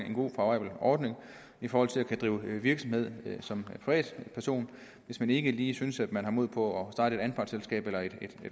en god favorabel ordning i forhold til at kunne drive virksomhed som privatperson hvis man ikke lige synes at man har mod på at starte et anpartsselskab eller et